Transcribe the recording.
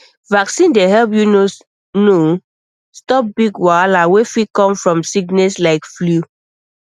vaccine dey help you know stop big wahala wey fit come from sickness like flu